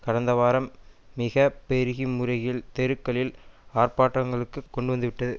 கடந்த வாரம் மிக பெருகி முறையில் தெருக்க்களில் ஆர்ப்பாட்டங்களுக்கு கொண்டுவந்துவிட்டது